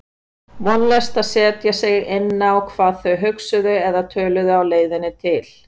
Vonlaust að setja sig inn í hvað þau hugsuðu eða töluðu á leiðinni til